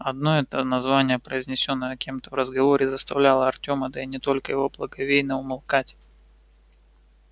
одно это название произнесённое кем-то в разговоре заставляло артёма да и не только его благоговейно умолкать